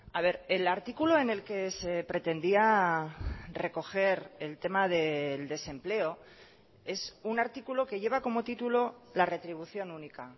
a ver el artículo en el que se pretendía recoger el tema del desempleo es un artículo que lleva como título la retribución única